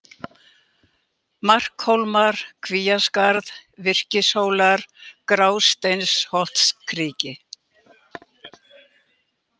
Markhólmar, Kvíaskarð, Virkishólar, Grásteinsholtskriki